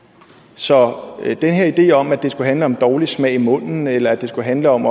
så den her idé om at det skulle handle om en dårlig smag i munden eller at det skulle handle om